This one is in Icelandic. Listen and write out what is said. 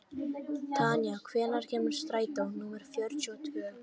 Tanya, hvenær kemur strætó númer fjörutíu og tvö?